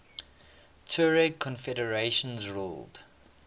tuareg confederations ruled